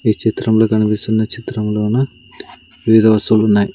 ఈ చిత్రంలో కనిపిస్తున్న చిత్రంలోన వివిధ వస్తువులున్నాయ్.